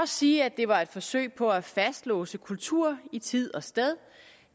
sige at det var et forsøg på at fastlåse kulturen i tid og sted